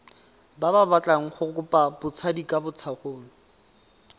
ba batlang go kopa botsadikatsholo